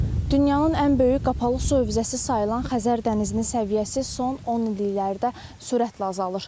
Dünyanın ən böyük qapalı su hövzəsi sayılan Xəzər dənizinin səviyyəsi son on illiklərdə sürətlə azalır.